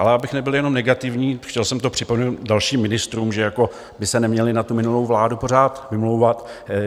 Ale abych nebyl jenom negativní - chtěl jsem to připomenout dalším ministrům, že by se neměli na tu minulou vládu pořád vymlouvat.